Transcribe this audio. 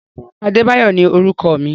Rárá, Adebayo ni orúkọ mi.